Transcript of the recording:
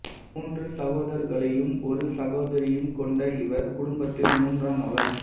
மூன்று சகோதரர்களையும் ஒரு சகோதரியையும் கொண்ட இவர் குடும்பத்தில் மூன்றாமவர்